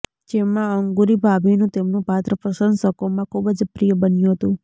જેમાં અંગૂરી ભાભીનું તેમનું પાત્ર પ્રસશંકોમાં ખૂબ જ પ્રિય બન્યું હતું